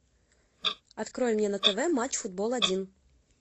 открой мне на тв матч футбол один